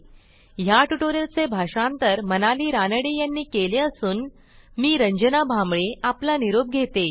ह्या ट्युटोरियलचे भाषांतर मनाली रानडे यांनी केले असून मी रंजना भांबळे आपला निरोप घेते160